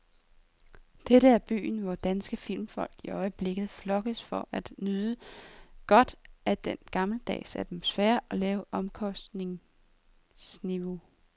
Dette er byen, hvor danske filmfolk i øjeblikket flokkes for at nyde godt af dens gammeldags atmosfære og lave omkostningsniveau.